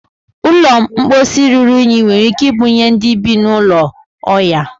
ụlọ mposi ruru unyi nwere ike ibunye ndị bi n'ulo oya